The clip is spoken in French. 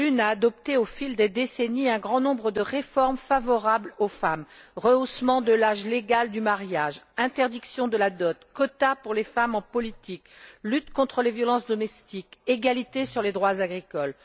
L'une a adopté au fil des décennies un grand nombre de réformes favorables aux femmes rehaussement de l'âge légal du mariage, interdiction de la dot, quotas pour les femmes en politique, lutte contre les violences domestiques, égalité sur les droits agricoles.